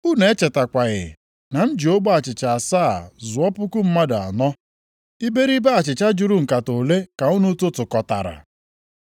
Unu echetakwaghị na m ji ogbe achịcha asaa zụọ puku mmadụ anọ? Iberibe achịcha juru nkata ole ka unu tụtụkọtara?